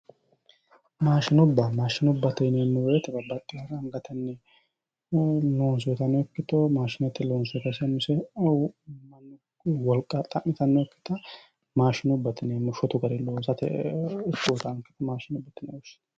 Maashinubba yineemmo woyiite angatenni loonsoyiitano ikkito maashinetenni loonsoyiiti ise umise no mannu wolqa xa'mitannokkita maashinubbate yineemmo shotu garinni loosate woyyitawoonke maashinubbate yineemmori